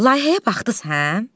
Layihəyə baxdınız hə?